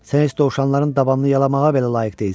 Sən heç dovşanların dabanını yalamağa belə layiq deyilsən.